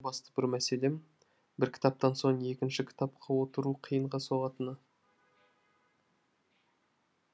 менің басты бір мәселем бір кітаптан соң екінші кітапқа отыру қиынға соғатыны